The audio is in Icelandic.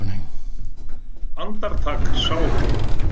Andartak sá hún